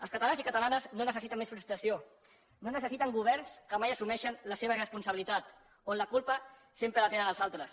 els catalans i catalanes no necessiten més frustració no necessiten governs que mai assumeixen la seva responsabilitat on la culpa sempre la tenen els altres